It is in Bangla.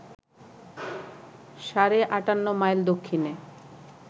সাড়ে ৫৮ মাইল দক্ষিণে